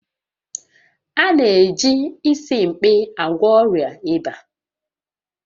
A na-eji Isimkpi agwọ ọrịa ịba